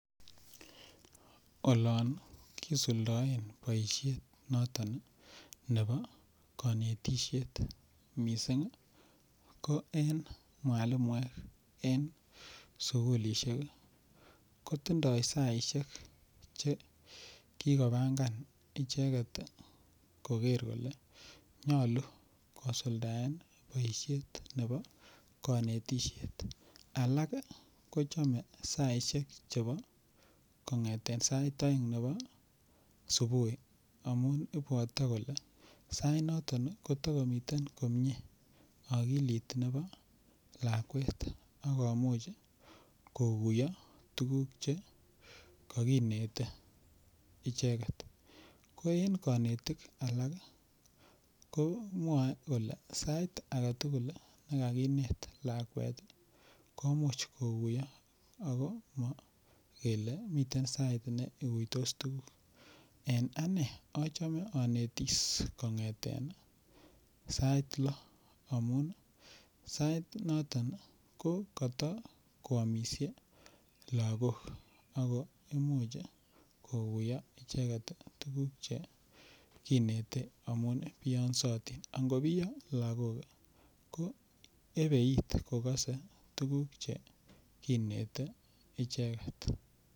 Oloon kisuldoen boishet noton nebo konetisyeet mising ko en mwalimuek en sugulishek kotindo saisiek chegigobangan icheget iih kogeer kole nyolu kosuldaen boishet nebo konetisheet, alaak iih kochome saisisek chebo kongeteen sait oeng nebo subui amuun ibwote kole sait noton iih kotogomiten komyee okiliit nebo lakweek ak komuch koguyoo tuguuk chegoginete icheget, ko en konetik alak komwoe kole sait agetugul negagineet lakweet iih komuch koguyoo ago mogele miten sait neguitoss tuguuk, en anee ochome onetiss sait lo amuun iih sait noton iih ko kotokwomisye lagook ago imuch koguyoo icheget iih tuguk cheginete amuun biongsotiin, angobiyo lagook iih ko ebeit kogose tuguk cheginete icheget.